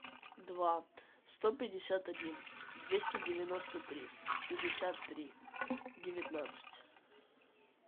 два сто пятьдесят один двести девяносто три пятьдесят три девятнадцать